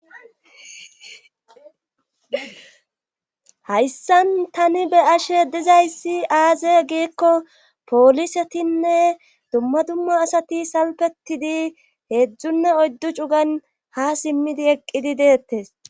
hayssan tani be ashe dizayssi aaze giikko poolisetinne dumma dumma asati salpetidi heedzdzunne oyddu cugan ha simmidi eqqidi deettes